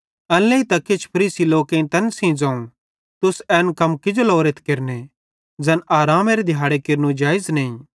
एन लेइतां किछ फरीसी लोकेईं तैन सेइं ज़ोवं तुस एन कम किजो लोरेथ केरने ज़ैन आरामेरे दिहाड़े केरनू जेइज़ नईं